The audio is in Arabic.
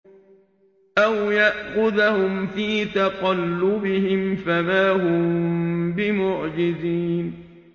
أَوْ يَأْخُذَهُمْ فِي تَقَلُّبِهِمْ فَمَا هُم بِمُعْجِزِينَ